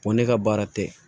ne ka baara tɛ